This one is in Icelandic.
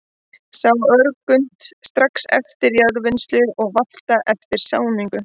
Sá á örgrunnt, strax eftir jarðvinnslu og valta eftir sáningu.